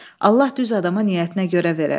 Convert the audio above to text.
Allah düz adama niyyətinə görə verər.